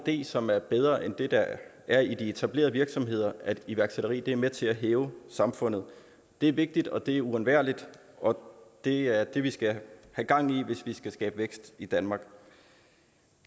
idé som er bedre end dem der er i de etablerede virksomheder at iværksætteri er med til at hæve samfundet det er vigtigt det er uundværligt og det er det vi skal have gang i hvis vi skal skabe vækst i danmark